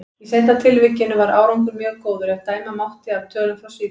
Í seinna tilvikinu var árangur mjög góður, ef dæma mátti af tölum frá Svíþjóð.